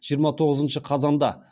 жиырма тоғызыншы қазанда